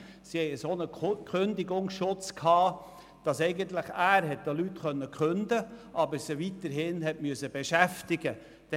Sie hatten einen derartigen Kündigungsschutz, dass er zwar den Leuten kündigen konnte, aber sie weiterhin beschäftigen musste.